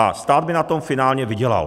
A stát by na tom finálně vydělal.